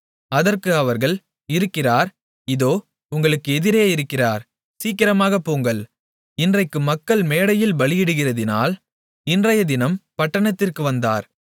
அதற்கு அவர்கள் இருக்கிறார் இதோ உங்களுக்கு எதிரே இருக்கிறார் சீக்கிரமாகப் போங்கள் இன்றைக்கு மக்கள் மேடையில் பலியிடுகிறதினால் இன்றையதினம் பட்டணத்திற்கு வந்தார்